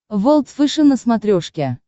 волд фэшен на смотрешке